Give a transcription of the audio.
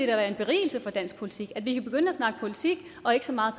være en berigelse for dansk politik altså at vi kan begynde at snakke politik og ikke så meget